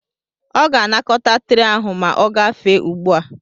Ọ ga-anakọta tre ahụ ma ogafe ugbu a.